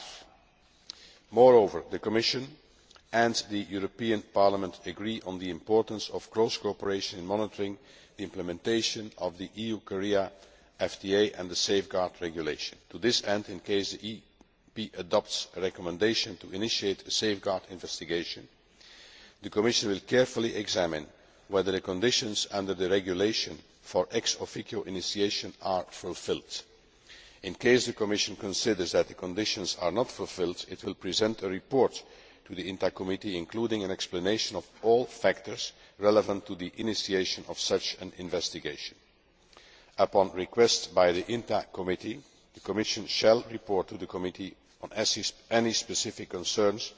5. Moreover, the Commission and the European Parliament agree on the importance of close cooperation in monitoring the implementation of the EU Korea FTA and the Safeguard Regulation. To this end, in case the EP adopts a recommendation to initiate a safeguard investigation, the Commission will carefully examine whether the conditions under the regulation for ex officio initiation are fulfilled. In case the Commission considers that the conditions are not fulfilled, it will present a report to the INTA Committee including an explanation of all factors relevant to the initiation of such an investigation. Upon request by the INTA Committee, the Commission shall report to the committee on any specific